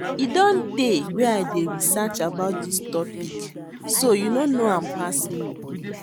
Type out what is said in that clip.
E don tey wey I dey research about dis topic so you no know am pass me